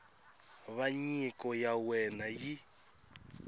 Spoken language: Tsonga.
va nyiko ya wena yi